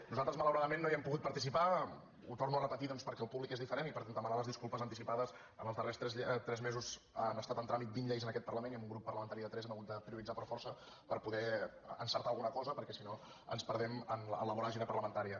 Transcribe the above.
nosaltres malauradament no hi hem pogut participar ho torno a repetir doncs perquè el públic és diferent i per demanar les disculpes anticipades en els darrers tres mesos han estat en tràmit vint lleis en aquest parlament i amb un grup parlamentari de tres hem hagut de prioritzar per força per poder encertar alguna cosa perquè si no ens perdem en la voràgine parlamentària